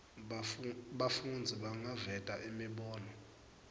bafundzi bangaveta imibono